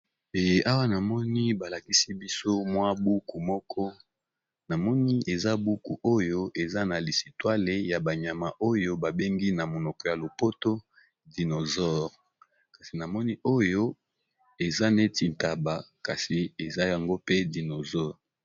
Awa namoni balakisi biso mwa buku mokoboye eza buku oyo eza nalisitwale ya banyama oyo babenga dinozord